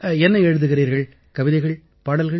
என்ன எழுதுகிறீர்கள் கவிதைகள் பாடல்கள்